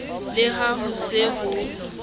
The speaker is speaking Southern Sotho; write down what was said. le ha ho se ho